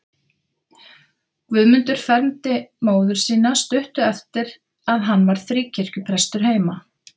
Guðmundur fermdi móður mína stuttu eftir að hann varð fríkirkjuprestur heima.